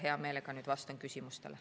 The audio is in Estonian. Hea meelega vastan küsimustele.